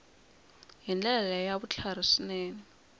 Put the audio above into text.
hi ndlela ya vutlhari swinene